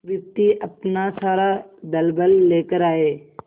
विपत्ति अपना सारा दलबल लेकर आए